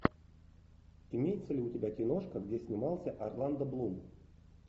имеется ли у тебя киношка где снимался орландо блум